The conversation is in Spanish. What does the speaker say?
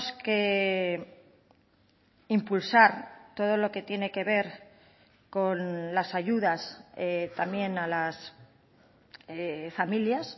que impulsar todo lo que tiene que ver con las ayudas también a las familias